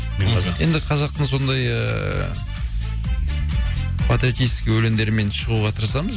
мен қазақпын енді қазақтың сондай ыыы патриотический өлеңдермен шығуға тырысамыз